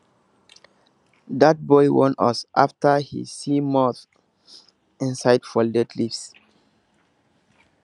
dat boy warn us after he see moths inside folded leaves